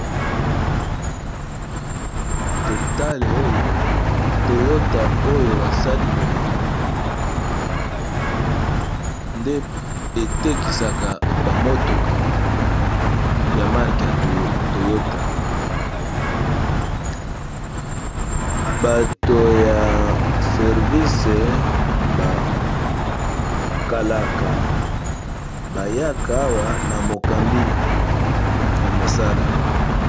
totale oyo toyota oyo basali boye nde etekisaka bamotoka ya marke ya toyota bato ya servisi bakalaka bayaka awa na mokambi ya mosala